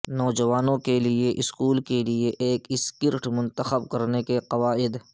نوجوانوں کے لئے سکول کے لئے ایک سکرٹ منتخب کرنے کے قواعد